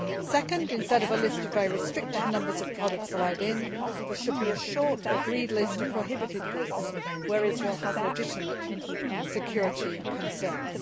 Second, instead of a list of a very restricted number of products that are allowed in, there should be a short, agreed list of prohibited goods where Israel has legitimate security concerns.